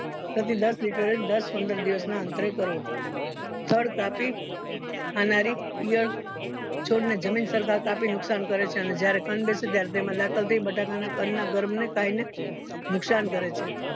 પ્રતિ દસ liter એ દસ પંદર દિવસ ના અંતરે કરવો તાપી ખાનારી ઈયળ છોડને જમીન સરખા કાપી નુકશાન કરે છે અને જયારે કંદ બેસે ત્યારે તેમાં દાખલ થય બટાકાના કંદ ના ગર્ભ ને ખાય ને નુકસાન કરે છે